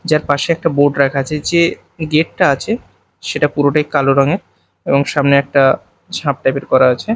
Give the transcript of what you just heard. যার পাশে একটা বোর্ড রাখা আছে যে গেট -টা আছে সেটা পুরোটাই কালো রঙের এবং সামনে একটি ঝাঁপ টাইপ -এর করা আছে।